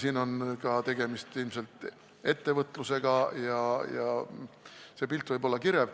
Siin on tegemist ilmselt ettevõtlusega ja see pilt võib olla kirev.